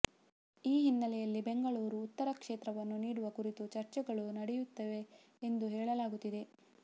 ಈ ಹಿನ್ನೆಲೆಯಲ್ಲಿ ಬೆಂಗಳೂರು ಉತ್ತರ ಕ್ಷೇತ್ರವನ್ನು ನೀಡುವ ಕುರಿತು ಚರ್ಚೆಗಳು ನಡೆಯುತ್ತಿವೆ ಎಂದು ಹೇಳಲಾಗುತ್ತಿದೆ